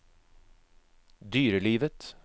dyrelivet